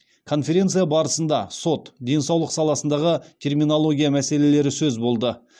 конференция барысында сот денсаулық саласындағы терминология мәселелері сөз болды